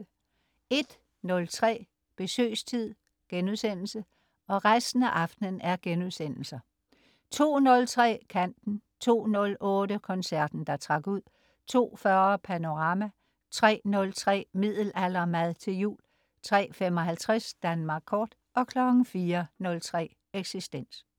01.03 Besøgstid* 02.03 Kanten* 02.08 Koncerten der trak ud* 02.40 Panorama* 03.03 Middelaldermad til jul* 03.55 Danmark kort* 04.03 Eksistens*